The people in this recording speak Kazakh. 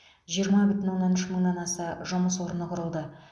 жиырма бүтін оннан үш мыңнан аса жұмыс орны құрылды